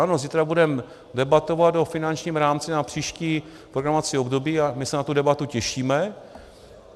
Ano, zítra budeme debatovat o finančním rámci na příští programovací období a my se na tu debatu těšíme.